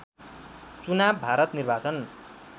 चुनाव भारत निर्वाचन